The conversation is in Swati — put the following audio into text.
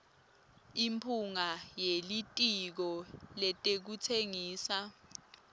imphunga yelitiko letekutsengisa